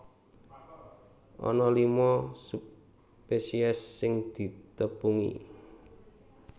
Ana lima subspesies sing ditepungi